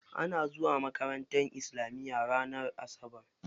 Ana zuwa makaranta islamiya ranar asabar.